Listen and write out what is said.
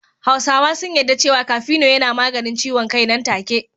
Hausawa sun yadda cewa kafino yana maganin ciwon kai nan take.